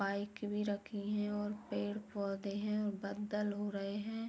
Bike भी रखी है और पेड़ पौधे हैं और बाद्दल हो रहे हैं।